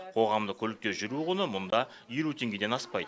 қоғамдық көлікте жүру құны мұнда елу теңгеден аспайды